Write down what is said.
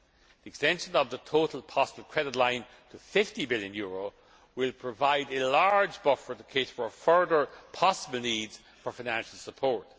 The extension of the total possible credit line to EUR 50 billion will provide a large buffer to cater for further possible needs for financial support.